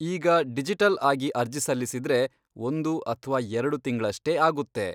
ಈಗ ಡಿಜಿಟಲ್ಆಗಿ ಅರ್ಜಿ ಸಲ್ಲಿಸಿದ್ರೆ, ಒಂದು ಅಥ್ವಾ ಎರ್ಡು ತಿಂಗ್ಳಷ್ಟೇ ಆಗುತ್ತೆ.